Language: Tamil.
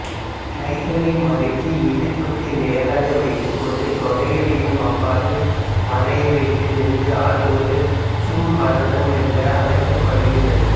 கைகளை மடக்கி இடுப்புக்கு நேராக வைத்துக் கொண்டு தொடைகளையும் அவ்வாறே வளைய வைத்து நின்று ஆடுவது ஸம்ப்ராந்தம் என்று அழைக்கப்படுகிறது